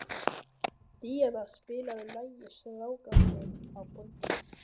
Díanna, spilaðu lagið „Strákarnir á Borginni“.